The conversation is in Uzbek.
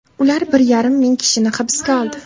Ular bir yarim ming kishini hibsga oldi.